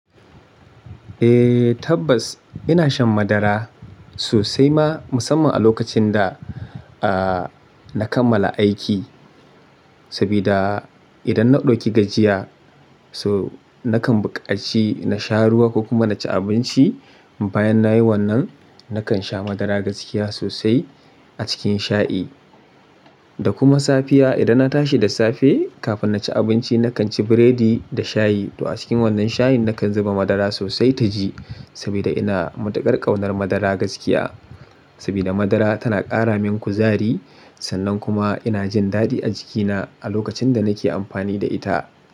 Eh, tabbas ina shan madara sosai ma musamman a lokacin da, ah, na kammala aiki. Saboda idan na ɗauki gajiya so nakan buƙaci na sha ruwa ko kuma na ci abinci. Bayan na yi wannan, nakan sha madara gaskiya sosai a cikin shayi. Da kuma safiya idan na tashi da safe kafin na ci abinci nakan ci biredi da shayi. To a cikin wannan shayin nakan zuba madara sosai taji saboda ina matuƙar ƙaunar madara gaskiya. Saboda madara tana ƙara min kuzari sannan kuma ina jin dadi a jikina a lokacin da nake amfani da ita.